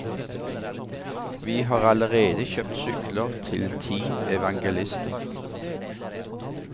Vi har allerede kjøpt sykler til ti evangelister.